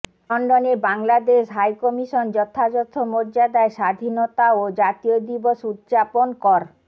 লন্ডনে Bangladesh high commission যথাযথ মর্যাদায় স্বাধীনতা ও জাতীয় দিবস উদযাপন কর